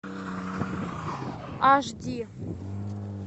аш ди